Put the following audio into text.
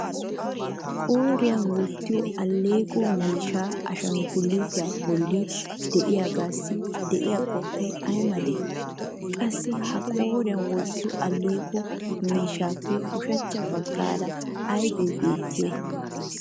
Qooriyan wottiyo alleeqo miishshay ashangguluutiya bolli diyagaassi de'iya qottay ay malee? Qassi ha qooriyan wottiyo alleeqo miishshaappe ushachcha baggaara aybee beettiyay?